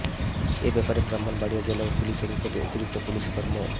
এ ব্যাপারে ব্রাহ্মণবাড়িয়া জেলা পুলিশের অতিরিক্ত পুলিশ সুপার মো